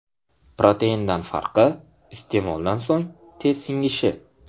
Proteindan farqi iste’moldan so‘ng tez singishi.